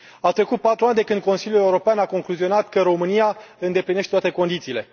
Au trecut patru ani de când Consiliul European a concluzionat că România îndeplinește toate condițiile.